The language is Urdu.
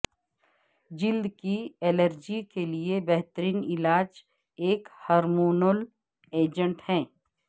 جلد کی الرجی کے لئے بہترین علاج ایک ہارمونول ایجنٹ ہے